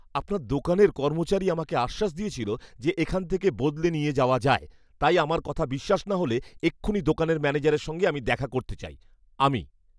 আপনার দোকানের কর্মচারী আমাকে আশ্বাস দিয়েছিল যে এখান থেকে বদলে নিয়ে যাওয়া যায়, তাই আমার কথা বিশ্ৱাস না হলে এক্ষুণি দোকানের ম্যানেজারের সঙ্গে আমি দেখা করতে চাই। আমি